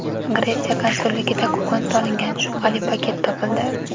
Gretsiya konsulligida kukun solingan shubhali paket topildi.